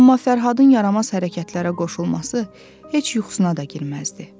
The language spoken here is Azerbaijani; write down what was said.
Amma Fərhadın yaramaz hərəkətlərə qoşulması heç yuxusuna da girməzdi.